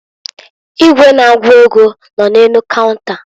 Igwe na-agụ ego nọ n'elu kaunta.